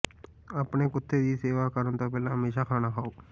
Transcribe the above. ਆਪਣੇ ਕੁੱਤੇ ਦੀ ਸੇਵਾ ਕਰਨ ਤੋਂ ਪਹਿਲਾਂ ਹਮੇਸ਼ਾਂ ਖਾਣਾ ਖਾਓ